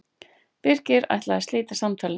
Birkir ætlaði að slíta samtalinu.